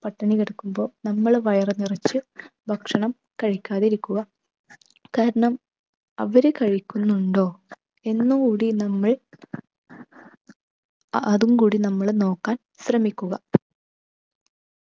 പട്ടിണി കിടക്കുമ്പോ നമ്മൾ വയറു നിറച്ച് ഭക്ഷണം കഴിക്കാതിരിക്കുക. കാരണം അവര് കഴിക്കുന്നുണ്ടോ? എന്നും കൂടി നമ്മൾ അതും കൂടി നമ്മൾ നോക്കാൻ ശ്രമിക്കുക.